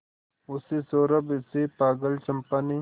उस सौरभ से पागल चंपा ने